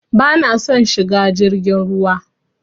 Bana son shiga jirgin ruwa.